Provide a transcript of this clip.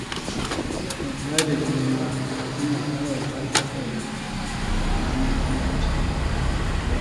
Yarda da juna yana ƙarfafa haɗin kai a tsakanin ƴan wasa.